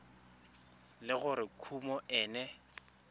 le gore kumo e ne